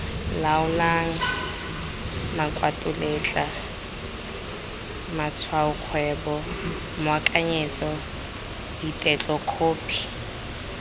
laolang makwalotetla matshwaokgwebo moakanyetso ditetlokhophi